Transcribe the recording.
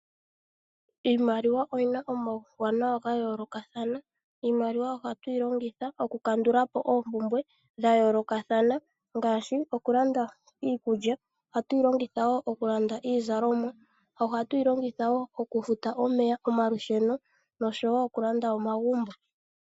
Iimaliwa oyina omawuwanawa nga yolokathana, iimaliwa ohatwilongitha oku kandulapo oopumbwe dhayolokathana ngashi okulanda iikulya, ohatwilongitha wo okulanda iizalomwa, okufuta omeya, omalusheno noshowo okulanda omagumbo.